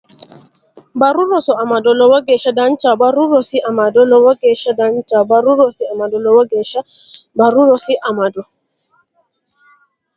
Barru Rosi Amado Lowo geeshsha danchaho Barru Rosi Amado Lowo geeshsha danchaho Barru Rosi Amado Lowo geeshsha Barru Rosi Amado.